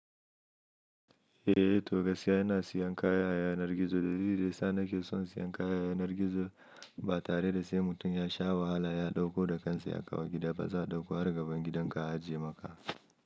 Eh to gaskiya ina sayan kaya a yanar gizo dalili dayasa nake son sayan kaya a yanar gizo ba tareda sai mutum yasha wahala ya ɗauko da kansa ya kawo gida ba za'a ɗauko har gaban gidanka a ajiye maka.